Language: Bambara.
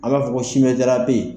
A b'a fɔ ko simɛ jara bɛ ye.